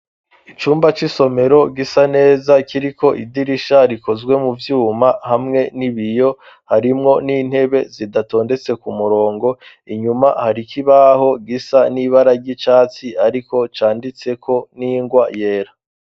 Icumba c'isomero gisa neza kiriko idirisha rikozwe mu vyuma hamwe n'ibiyo, harimwo n'intebe zidatondetse ku murongo, inyuma hari ikibaho gisa n'ibara ry'icatsi ariko canditseko n'ingwa yera.